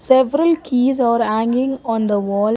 several keys are hanging on the wall.